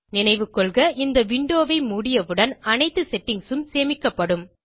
நினைவுகொள்க இந்த விண்டோ ஐ மூடியவுடன் அனைத்து செட்டிங்ஸ் உம் சேமிக்கப்படும்